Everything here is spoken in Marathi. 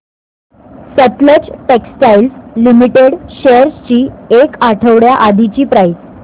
सतलज टेक्सटाइल्स लिमिटेड शेअर्स ची एक आठवड्या आधीची प्राइस